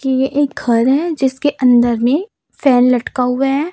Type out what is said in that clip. की ये एक घर है जिसके अंदर में फैन लटका हुआ है।